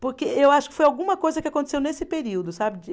Porque eu acho que foi alguma coisa que aconteceu nesse período, sabe?